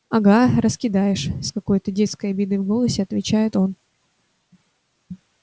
ага раскидаешь с какой-то детской обидой в голосе отвечает он